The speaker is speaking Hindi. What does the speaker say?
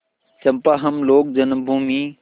चंपा हम लोग जन्मभूमि